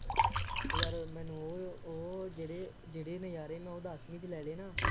ਉਹ ਯਾਰ ਮੈਨੂੰ ਉਹ ਉਹ ਜਿਹੜੇ ਜਿਹੜੇ ਨਜ਼ਾਰੇ ਮੈਂ ਉਹ ਦੱਸਵੀਂ ਲੈ ਲਏ ਨਾ,